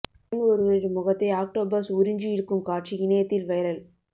பெண் ஒருவரின் முகத்தை ஆக்டோபஸ் உறிஞ்சி இழுக்கும் காட்சி இணையத்தில் வைரல்